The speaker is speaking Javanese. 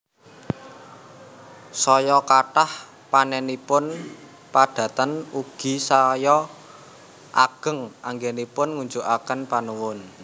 Saya kathah panénipun padatan ugi saya ageng anggénipun ngunjukaken panuwun